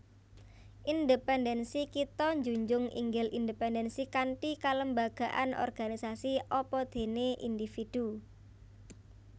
Independensi Kita njunjung inggil independensi kanthi kelembagaan organisasi apadéné individu